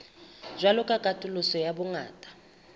jwalo ka katoloso ya bongata